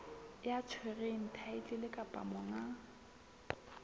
ya tshwereng thaetlele kapa monga